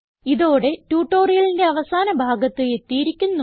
ഇതോടെ ട്യൂട്ടോറിയലിന്റെ അവസാന ഭാഗത്ത് എത്തിയിരിക്കുന്നു